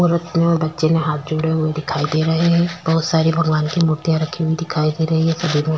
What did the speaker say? और अपने और बच्चे ने हाथ जोड़े हुए दिखाई दे रहे है बहुत सारी भगवान की मूर्तियाँ रखी हुई दिखाई दे रही है सभी --